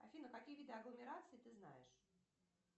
афина какие виды агломераций ты знаешь